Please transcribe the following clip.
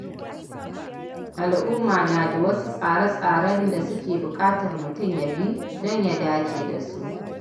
Al’umma na da wasu tsare-tsaren da suke bukatar mutum ya bi don ya dace da su.